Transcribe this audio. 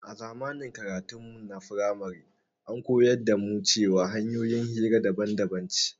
A zamanin karatun framarin mu an koya mana cewar hanƴoyin hira daban daban ce